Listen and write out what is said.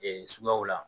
suguyaw la